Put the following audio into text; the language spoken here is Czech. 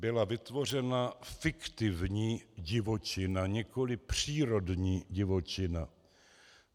Byla vytvořena fiktivní divočina, nikoliv přírodní divočina.